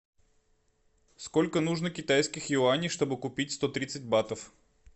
сколько нужно китайских юаней чтобы купить сто тридцать батов